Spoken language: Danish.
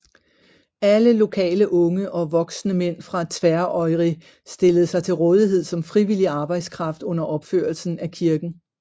Alle lokale unge og voksne mænd fra Tvøroyri stillede sig til rådighed som frivillig arbejdskraft under opførelsen af kirken